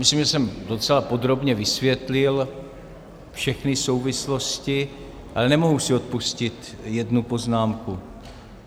Myslím, že jsem docela podrobně vysvětlil všechny souvislosti, ale nemohu si odpustit jednu poznámku.